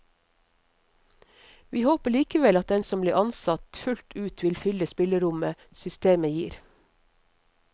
Vi håper likevel at den som blir ansatt, fullt ut vil fylle spillerommet systemet gir.